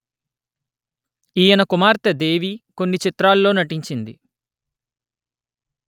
ఈయన కుమార్తె దేవి కొన్ని చిత్రాల్లో నటించింది